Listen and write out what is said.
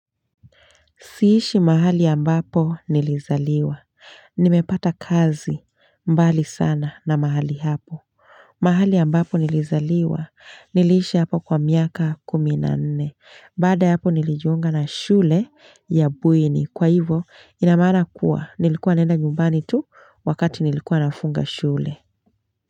Siishi mahali ambapo nilizaliwa. Nimepata kazi mbali sana na mahali hapo. Mahali ambapo nilizaliwa niliishi hapo kwa miaka kumi na nne. Baada ya hapo nilijiunga na shule ya bweni. Kwa hivo ina maana kuwa nilikuwa naenda nyumbani tu wakati nilikuwa nafunga shule.